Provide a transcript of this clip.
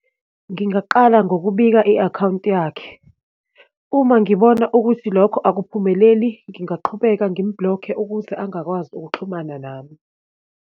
Ngingaqala ngokubika i-akhawunti yakhe. Uma ngibona ukuthi lokho akuphumeleli, ngingaqhubeka ngim-block-e, ukuze angakwazi ukuxhumana nami.